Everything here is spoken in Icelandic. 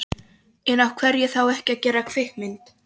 En af hverju þá ekki að gera kvikmynd?